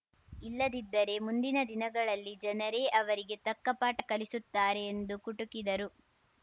ಇಲ್ಲದಿದ್ದರೆ ಮುಂದಿನ ದಿನಗಳಲ್ಲಿ ಜನರೇ ಅವರಿಗೆ ತಕ್ಕಪಾಠ ಕಲಿಸುತ್ತಾರೆ ಎಂದು ಕುಟುಕಿದರು